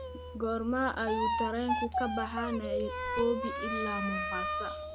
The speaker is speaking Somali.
goorma ayuu tareenku ka baxaa nairobi ilaa mombasa